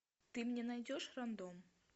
ты мне найдешь рандом